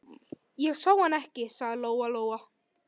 Ég sá hann ekki, sagði Lóa-Lóa.